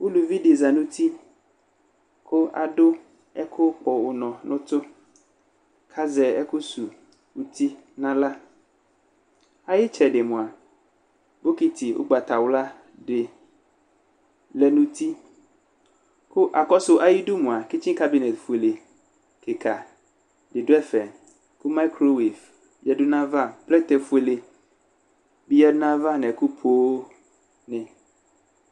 Uluvi dɩ za nʋ uti kʋ adʋ ɛkʋkpɔ ʋnɔ nʋ ʋtʋ kʋ azɛ ɛkʋsuwu uti nʋ aɣla Ayʋ ɩtsɛdɩ mʋa, bokiti ʋgbatawla dɩ lɛ nʋ uti Kʋ akɔsʋ ayidu mʋa, kitsikǝ bene fuele kɩka dɩ dʋ ɛfɛ kʋ mayikro wif yǝdu nʋ ayava Plɛtɛfuele bɩ yǝdu nʋ ayava nʋ ɛkʋ poonɩ